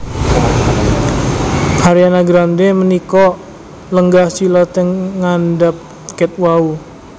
Ariana Grande menika lenggah sila teng ngandhap ket wau